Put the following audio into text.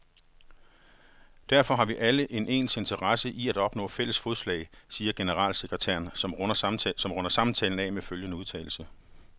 Derfor har vi alle en interesse i at opnå fælles fodslag, siger generalsekretæren, som runder samtalen af med følgende udtalelse.